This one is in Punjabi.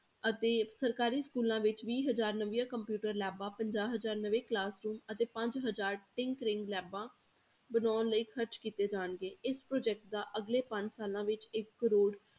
ਅਤੇ ਸਰਕਾਰੀ schools ਵਿੱਚ ਵੀਹ ਹਜ਼ਾਰ ਨਵੀਆਂ computer labs ਪੰਜਾਹ ਹਜ਼ਾਰ ਨਵੇਂ classroom ਅਤੇ ਪੰਜ ਹਜ਼ਾਰ labs ਬਣਾਉਣ ਲਈ ਖ਼ਰਚ ਕੀਤੇ ਜਾਣਗੇ ਇਸ project ਦਾ ਅਗਲੇ ਪੰਜ ਸਾਲਾਂ ਵਿੱਚ ਇੱਕ ਕਰੌੜ